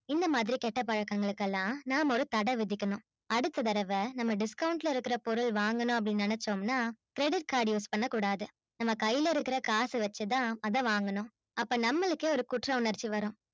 இந்த மாதிரி கெட்ட பழக்கங்களுக்குலாம் நாம ஒரு தட விதிக்கணும் அடுத்த தடவ நம்ம discount ல இருக்குற பொருள் வாங்கனு அபிடின்னு நெனச்சோம்னா credit card use பண்ண கூடாது நம்ம கையில இருக்குற காசு வச்சி தான் அத வாங்கனும் அப்ப நம்மளுக்கே ஒரு குற்றுணர்ச்சி வரும்